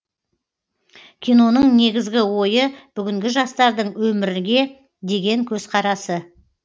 киноның негізгі ойы бүгінгі жастардың өмірге деген көзқарасы